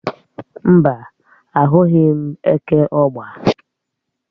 Mbá, ahụghị m eke ọ̀gba.